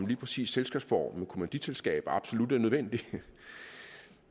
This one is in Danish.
lige præcis selskabsformen kommanditselskaber absolut er nødvendig